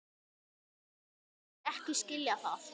Vildi ekki skilja það.